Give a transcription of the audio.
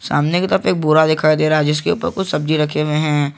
सामने की तरफ एक बोरा दिखाई दे रहा है जिसके ऊपर कुछ सब्जी रखे हुए हैं।